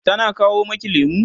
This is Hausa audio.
tana kawo maki lemu?